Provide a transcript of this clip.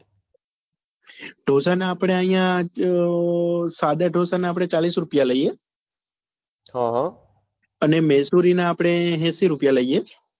ઢોસા ના અપડે અહિયાં સાડા ઢોસા ના આપડે ચાળીસ રૂપિયા લઈએ અને મહેસુરી નાં આપડે એસી રૂપિયા લઈએ